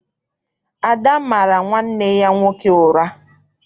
Ada mara nwanne ya nwoke ụra.